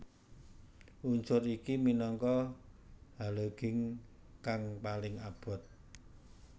Unsur iki minangka halogin kang paling abot